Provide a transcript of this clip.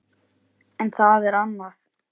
En það er annað.